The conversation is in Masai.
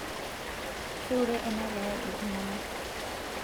keure ena kerai iltungana